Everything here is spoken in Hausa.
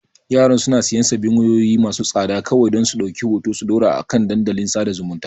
Yaran suna siyan sabbin wayoyi masu tsada kawai don su ɗauki hoto su ɗora a kan dandalin sada zumunta.